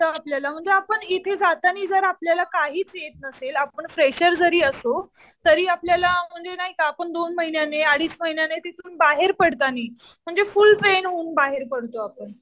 आपल्याला म्हणजे आपण इथे जाताना जर आपल्याला काहीच येत नसेल, आपण फ्रेशर जरी असू, तरी आपल्याला म्हणजे नाही का आपण दोन महिन्याने, अडीच महिन्याने तिथून बाहेर पडतानी म्हणजे फुल ट्रेन होऊन बाहेर पडतो आपण.